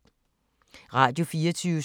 Radio24syv